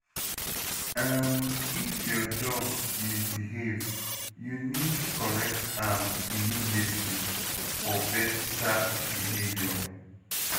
um If your dog misbehave, you need correct am immediately for better behavior.